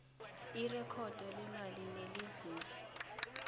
irekhodo lemali nelenzuzo